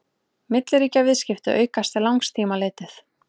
milliríkjaviðskipti aukast til langs tíma litið